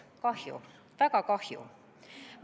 Kahju, väga kahju!